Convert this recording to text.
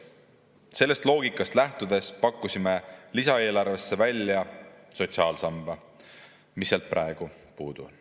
Sellest loogikast lähtudes pakkusime lisaeelarvesse välja sotsiaalsamba, mis sealt praegu puudu on.